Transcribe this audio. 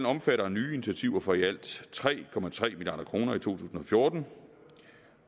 omfatter nye initiativer for i alt tre tre milliard kroner i to tusind og fjorten